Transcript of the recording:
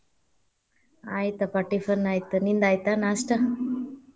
ಆಯ್ತಪ್ಪಾ tiffin ಆಯ್ತ ನಿಂದ್ ಆಯ್ತಾ ನಾಸ್ಟಾ?